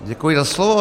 Děkuji za slovo.